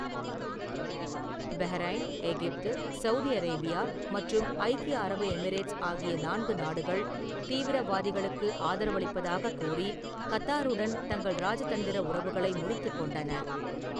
Bahrain , எகிப்து, Saudi Arabia மற்றும் ஐக்கிய அரபு எமிரேட்ஸ் ஆகிய நான்கு நாடுகள், 'தீவிரவாதிகளுக்கு' ஆதரவளிப்பதாகக் கூறி கத்தாருடன் தங்கள் இராஜதந்திர உறவுகளை முறித்துக் கொண்டன.